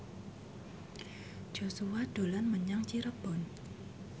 Joshua dolan menyang Cirebon